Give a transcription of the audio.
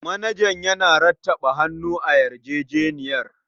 Manajan yana rattaba hannu a yarjejeniyar.